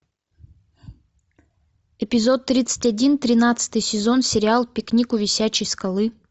эпизод тридцать один тринадцатый сезон сериал пикник у висячей скалы